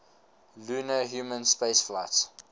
lunar human spaceflights